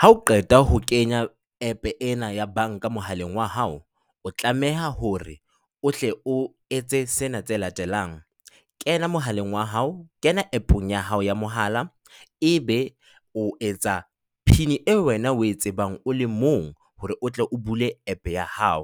Ha o qeta ho kenya app ena ya banka mohaleng wa hao, o tlameha hore o hle o etse sena tse latelang, kena mohaleng wa hao, kena app-ong ya hao ya mohala. Ebe o etsa PIN eo wena o e tsebang o le mong hore o tle o bule app ya hao.